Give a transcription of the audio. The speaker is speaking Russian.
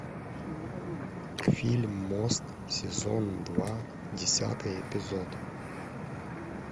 фильм мост сезон два десятый эпизод